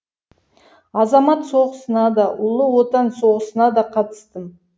азамат соғысына да ұлы отан соғысына да қатыстым